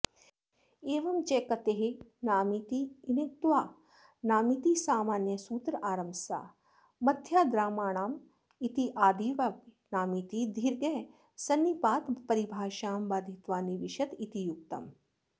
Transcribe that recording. एवं च कतेर्नामीत्यनुक्त्वा नामीति सामान्यसूत्रारम्भसामथ्र्याद्रामाणामित्यादावपि नामीति दीर्घः सन्निपातपरिभाषां बाधित्वा निविशत इति युक्तम्